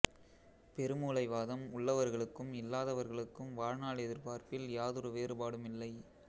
பெருமூளை வாதம் உள்ளவர்களுக்கும் இல்லாதவர்களுக்கும் வாழ்நாள் எதிர்பார்ப்பில் யாதொரு வேறுபாடுமில்லை